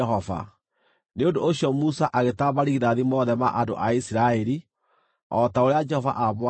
Nĩ ũndũ ũcio Musa agĩtara marigithathi mothe ma andũ a Isiraeli, o ta ũrĩa Jehova aamwathĩte.